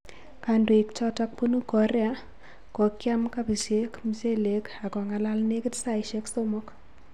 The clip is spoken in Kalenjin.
Kandoik chotok punu Korea kokiam kobichek, mchelek ak kong'akal nekit saisiek somok